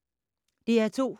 DR2